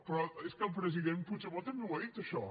però és que el president puigdemont també ho ha dit això